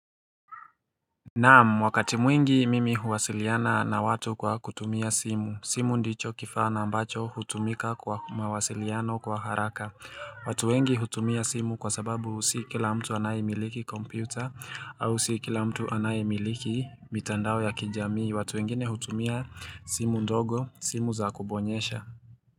Na'am wakati mwingi mimi huwasiliana na watu kwa kutumia simu. Simu ndicho kifaa nambacho hutumika kwa mawasiliano kwa haraka. Watu wengi hutumia simu kwa sababu si kila mtu anayemiliki kompyuta au si kila mtu anayemiliki mitandao ya kijamii. Watu wengine hutumia simu ndogo simu za kubonyesha.